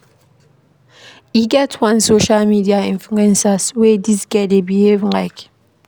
E get one social media influencer wey dis girl dey behave like.